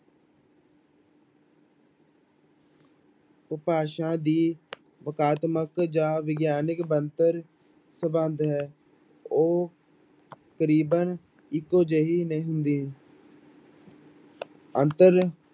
ਉਪਭਾਸ਼ਾ ਦੀ ਵਕਾਤਮਕ ਜਾਂ ਵਿਗਿਆਨਕ ਬਣਤਰ ਸੰਬੰਧ ਹੈ ਉਹ ਕਰੀਬਨ ਇੱਕੋ ਜਿਹੀ ਨਹੀਂ ਹੁੰਦੀ ਅੰਤਰ